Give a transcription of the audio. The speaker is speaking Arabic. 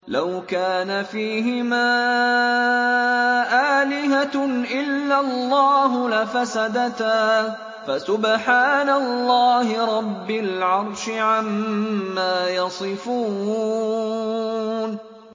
لَوْ كَانَ فِيهِمَا آلِهَةٌ إِلَّا اللَّهُ لَفَسَدَتَا ۚ فَسُبْحَانَ اللَّهِ رَبِّ الْعَرْشِ عَمَّا يَصِفُونَ